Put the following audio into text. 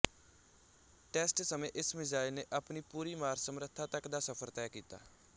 test ਸਮੇਂ ਇਸ missile ਨੇ ਆਪਣੀ ਪੂਰੀ ਮਾਰ ਸਮਰੱਥਾ ਤੱਕ ਦਾ ਸਫ਼ਰ ਤੈਅ ਕੀਤਾ